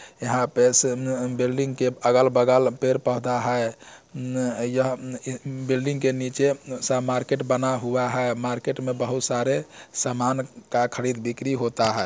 यहा पे से न बिल्डिंग के अगल-बगल पेड़-पौधा है न यह बिल्डिंग के नीचे सा मार्केट बना हुआ है मार्केट मे बहुत सारे सामान का खरीद-बिक्री होता है ।